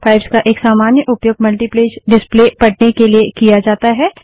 pipes का एक सामान्य उपयोग मल्टीपेज डिस्प्ले प्रदर्शन पढ़ने के लिए किया जाता है